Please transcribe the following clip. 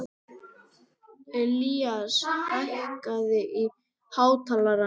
Ilías, hækkaðu í hátalaranum.